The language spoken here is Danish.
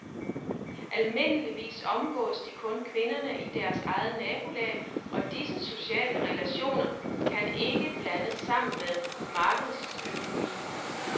Almindeligvis omgås de kun kvinderne i deres eget nabolag, og disse sociale relationer kan ikke blandes sammen med markedsøkonomi.